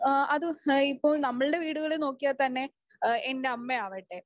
ആഹ് അത് ഇപ്പോൾ നമ്മുടെ വീടുകളിൽ നോക്കിയാൽ തന്നെ ആഹ് എന്റമ്മയാവട്ടെ